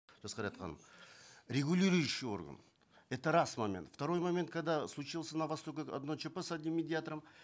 жасқайрат ханым регулирующий орган это раз момент второй момент когда случилось на востоке одно чп с одним медиатором